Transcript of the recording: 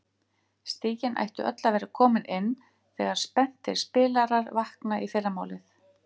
Stigin ættu öll að vera komin inn þegar spenntir spilarar vakna í fyrramálið.